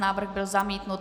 Návrh byl zamítnut.